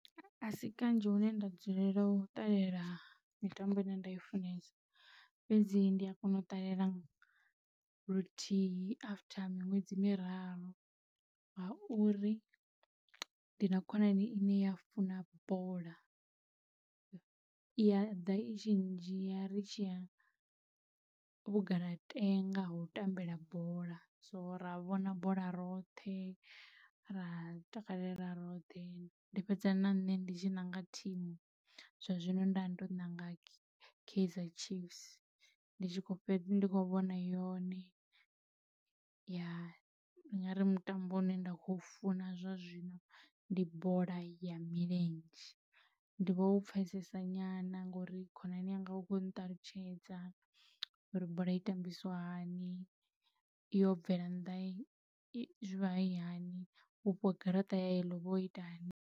A si kanzhi hune nda dzulela u ṱalela mitambo ine nda i funesa, fhedzi ndi a kona u ṱalela luthihi after miṅwedzi miraru ngauri ndi na khonani ine ya funa bola, I a ḓa i tshi ndzhia ri tshi ya vhugalatenga ho tambela bola so ra vhona bola roṱhe ra takalela roṱhe. Ndi fhedza na nṋe ndi tshi nanga thimu, zwa zwino nda ndo nanga Kaizer Chiefs ndi tshi kho fhedza ndi kho vhona yone . Ndi ngari mutambo u ne nda khou funa zwa zwino ndi bola ya milenzhe ndi vhou pfesesa nyana ngori khonani yanga ukho nṱalutshedza uri bola i tambisa hani yo bvela nnḓa hayani vhupo garaṱa ya yellow uvha wo ita hani.